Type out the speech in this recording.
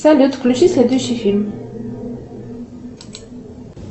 салют включи следующий фильм